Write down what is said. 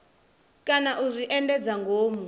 kana u zwi endedza ngomu